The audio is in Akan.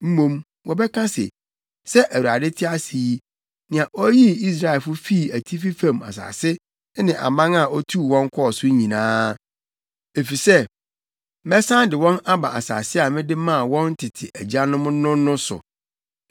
mmom, wɔbɛka se, ‘Sɛ Awurade te ase yi nea oyii Israelfo fii atifi fam asase ne aman a otuu wɔn kɔɔ so nyinaa.’ Efisɛ mɛsan de wɔn aba asase a mede maa wɔn tete agyanom no no so.